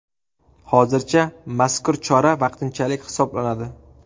Hozircha mazkur chora vaqtinchalik hisoblanadi.